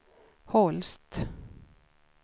Holst